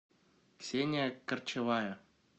ксения корчевая